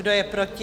Kdo je proti?